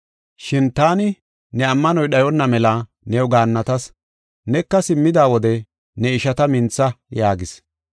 Shin taani ne ammanoy dhayonna mela new gaannatas. Neka simmida wode ne ishata mintha” yaagis.